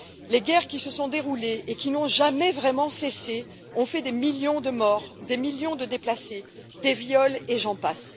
Les guerres qui s'y sont déroulées, et qui n'ont jamais vraiment cessé, ont fait des millions de morts, des millions de déplacés, ont occasionné des viols, et j'en passe.